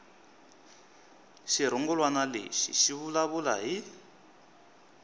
xirungulwana lexi xi vulavula hi